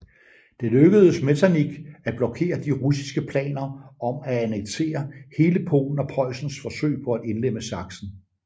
Det lykkedes Metternich at blokere de russiske planer om at annektere hele Polen og Preussens forsøg på at indlemme Sachsen